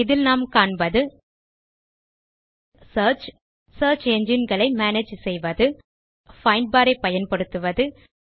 இதில் நாம் காண்பது சியர்ச் சியர்ச் என்ஜின் களை மேனேஜ் பைண்ட் பார் ஐ பயன்படுத்துவது செய்வது